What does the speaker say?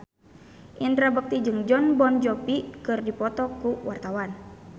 Indra Bekti jeung Jon Bon Jovi keur dipoto ku wartawan